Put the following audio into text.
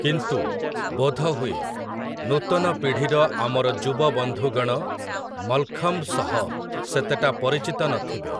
କିନ୍ତୁ, ବୋଧହୁଏ, ନୂତନ ପିଢ଼ିର ଆମର ଯୁବବନ୍ଧୁଗଣ ମଲ୍‌ଖମ୍ବ୍ ସହ ସେତେଟା ପରିଚିତ ନ ଥିବେ ।